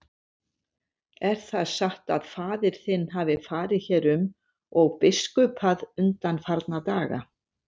Er það satt að faðir þinn hafi farið hér um og biskupað undanfarna daga?